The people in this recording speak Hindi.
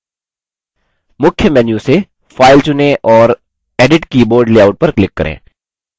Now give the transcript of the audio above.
मुख्य menu से file चुनें और edit keyboard layout पर click करें